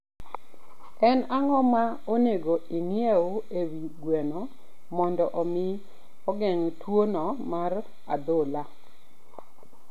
En ang'o ma onego ing'e e wi gweno mondo omi ogeng' tuwono mar adhola?